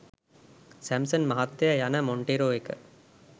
Samson මහත්තයා යන Montero එක